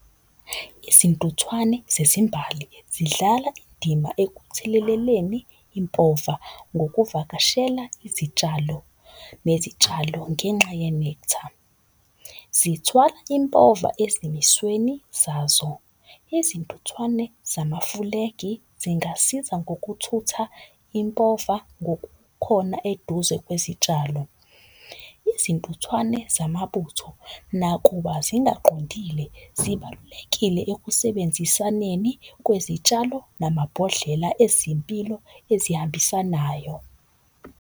Izintuthwane zezimbali zidlala indima ekutheleleleni impova ngokuvakashela izitshalo nezitshalo ngenxa ye-nectar. Zithwala impova ezimisweni zazo. Izintuthwane zamafulegi zingasiza ngokuthutha impova ngokukhona eduze kwezitshalo. Izintuthwane zamabutho nakuba zingaqondile, zibalulekile ekusebenzisaneni kwezitshalo namabhodlela ezimpilo ezihambisanayo.